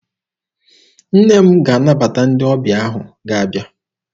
Nne m ga-anabata ndị ọbịa ahụ ga-abịa.